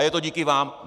A je to díky vám.